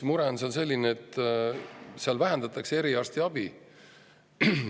Mure on selline, et seal vähendatakse eriarstiabi.